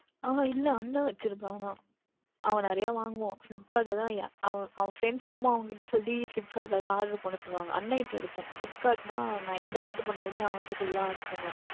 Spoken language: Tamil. அஹ் இல்லை அண்ணன் வைத்து இருக்கின்றான் ஆனால் அவன் நிறைய வாங்குவான் Flipkart யில் அவன் Friends எல்லாம் அவனிடம் சொல்லி Flipkart யில் தான் Oder பண்ண சொல்லுவார்கள் அண்ணன் கிட்ட இருக்கும் Flipkart யில் என்றால் நான் எது Oder பன்னினாலுமே அவனிடம் சொல்லி தான் பண்ணுவேன்